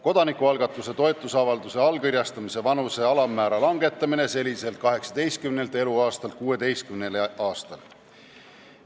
Kodanikualgatuse toetusavalduse allkirjastamise vanuse alammäära langetamine seniselt 18 eluaastalt 16 aastale.